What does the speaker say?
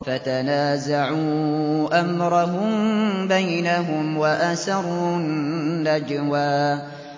فَتَنَازَعُوا أَمْرَهُم بَيْنَهُمْ وَأَسَرُّوا النَّجْوَىٰ